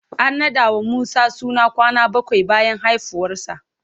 An naɗa wa Musa suna kwana bakwai bayan haifuwarsa.